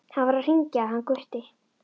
HANN VAR AÐ HRINGJA HANN GUTTI.